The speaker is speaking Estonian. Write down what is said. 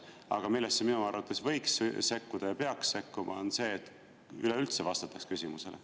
Aga millesse minu arvates võiks sekkuda ja peaks sekkuma, on see, et üleüldse vastataks küsimusele.